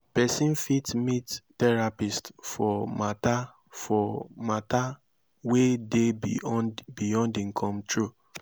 persin fit meet therapist for matter for matter wey de beyond im control